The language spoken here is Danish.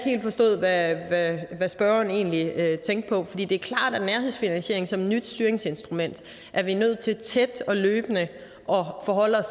har forstået hvad spørgeren egentlig tænkte på det er klart at nærhedsfinansiering som et nyt styringsinstrument er vi nødt til tæt og løbende at forholde os